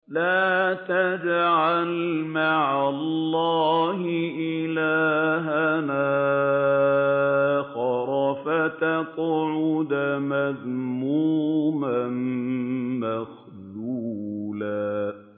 لَّا تَجْعَلْ مَعَ اللَّهِ إِلَٰهًا آخَرَ فَتَقْعُدَ مَذْمُومًا مَّخْذُولًا